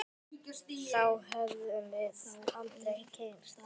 Þá hefðum við aldrei kynnst